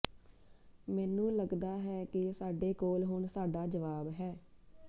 ਮੈਨੂੰ ਲੱਗਦਾ ਹੈ ਕਿ ਸਾਡੇ ਕੋਲ ਹੁਣ ਸਾਡਾ ਜਵਾਬ ਹੈ